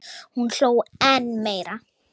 Hún hló enn meira.